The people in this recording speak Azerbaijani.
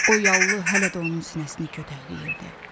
O yallı hələ də onun sinəsini kötəkləyirdi.